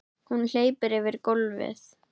Hún hleypur yfir gólfið.